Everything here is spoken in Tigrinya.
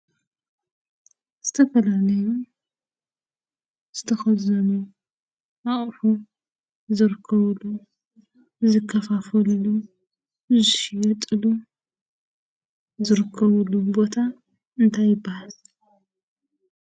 ዝተፈላለዩ ዝተከዘኑ አቁሑ ዝርከብሉ፣ ዝከፋፈልሉ፣ ዝሽየጥሉ፣ ዝርከብሉ ቦታ እንታይ ይበሃል?